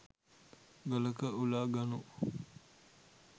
ගලක උලා ගනු